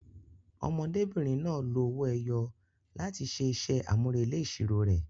Ọmọdébìnrin náà lo owó ẹyọ láti ṣe iṣẹ́ àmúrelé ìṣirò rẹ̀.